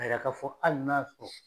Ka yira ka fɔ hali n'a y'a sɔrɔ